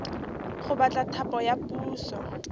go batla thapo ya puso